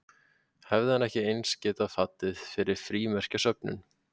Hefði hann ekki eins getað fallið fyrir frímerkjasöfnun?